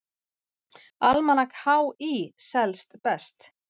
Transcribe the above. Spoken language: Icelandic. Almanak HÍ selst best